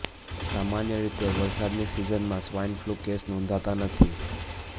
સામાન્ય રીતે વરસાદની સિઝનમાં સ્વાઈન ફ્લૂના કેસ નોંધાતા નથી